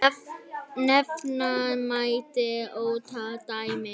Nefna mætti ótal dæmi.